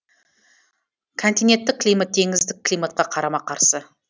континенттік климат теңіздік климатқа қарама қарсы